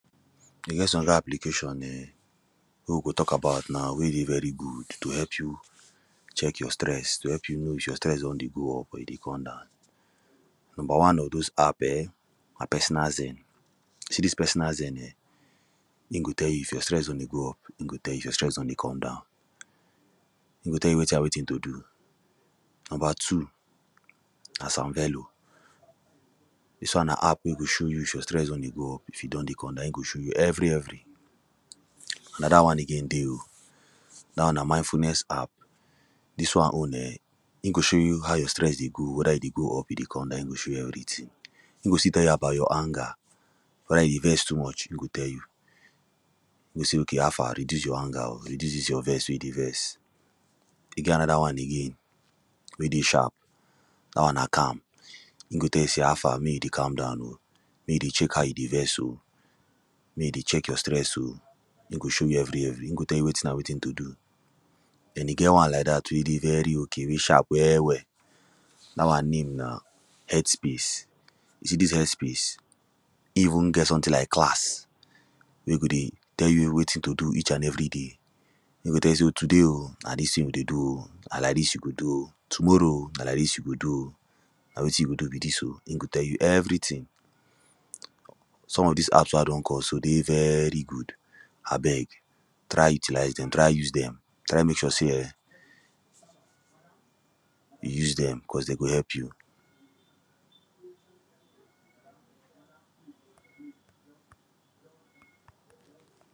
e get son application um wey we go talk about now we dey very good to help you check your stress to help you if your stress don dey go up or e dey come down number one of those app um na personal zain you see dis personal zain um in go tell you if your stress don dey go up in go tell you if your stress don dey come down in go tell you wetin and wetin to do number two na sanvelo dis won na app wey go show you if your stress don dey go up if e don dey come down in go show you evri evri anoda wan again dey oh da won na mindfulness app dis wan own um in go show you how your stress dey go weda e dey go e dey come down in go show you everytin e go still tell you about your anger weda you dey vex too much in go tell you in go sey ok oh how far reduce your anger reduce dis your vex we you dey vex e get anoda wan again we dey sharp da wan na calm in go tell you sey how fa mey you dey calm down oh mey you dey check how you dey vex oh mey you dey check your stress oh in go show you everi evri in go tell you wetin and wetin to do and e get wan like dat we dey very ok wey sharp well well da wan name na health space you see dis heallth space e ivun get someti like class we e go dey tell you wetin to do each and every day e go tell you se today oh na dis tin we dey do o na like dis you go do oh tomorrow oh na like dis you go do oh na wetin you go do be dis oh in go tell you everytin some of dis apps wen i don call so dey very good abeg try utilize dem try use dem try mek sure sey um you use dem caus dey go help you.